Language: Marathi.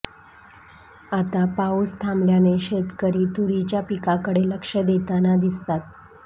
आता पाऊस थांबल्याने शेतकरी तुरीच्या पिकाकडे लक्ष देताना दिसतात